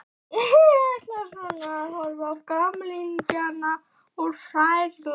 Ég ætla svona að horfa á gamlingjana úr fjarlægð.